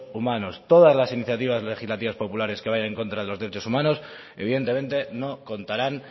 humanos todas las iniciativas legislativas populares que vayan en contra de los derechos humanos evidentemente no contarán